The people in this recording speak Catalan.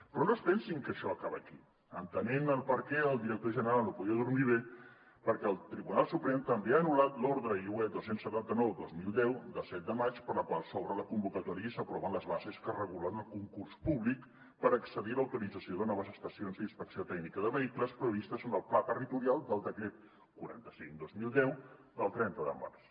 però no es pensin que això acaba aquí entenent per què el director general no podia dormir bé perquè el tribunal suprem també ha anul·lat l’ordre iue dos cents i setanta nou dos mil deu de set de maig per la qual s’obre la convocatòria i s’aproven les bases que regulen el concurs públic per accedir a l’autorització de noves estacions d’inspecció tècnica de vehicles previstes en el pla territorial aprovat pel decret quaranta cinc dos mil deu del trenta de març